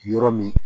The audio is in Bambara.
Yɔrɔ min